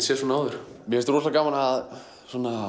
séð svona áður mér finnst rosalega gaman að